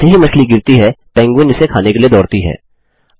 फिर जैसे ही मछली गिरती है पेंगुइन उसे खाने के लिए दौड़ती है